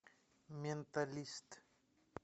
менталист